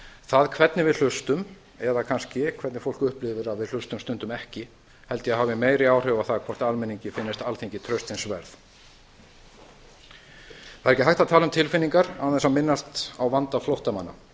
það hvernig við hlustum eða kannski hvernig fólk upplifir að við hlustum stundum ekki held ég að hafi meiri áhrif á það hvort almenningi finnist alþingi traustsins vert það er ekki hægt að tala um tilfinningar án þess að minnast á vanda flóttamanna